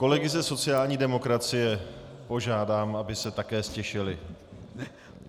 Kolegy za sociální demokracie požádám, aby se také ztišili.